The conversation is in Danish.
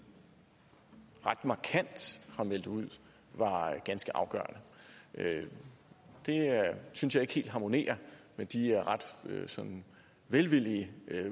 ret markant har meldt ud var ganske afgørende det synes jeg ikke helt harmonerer med de ret sådan velvillige